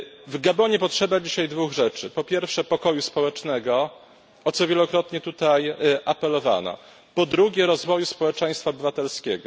W Gabonie potrzeba dzisiaj dwóch rzeczy po pierwsze, pokoju społecznego, o co wielokrotnie tutaj apelowano, po drugie, rozwoju społeczeństwa obywatelskiego.